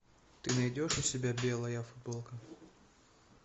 ты найдешь у себя белая футболка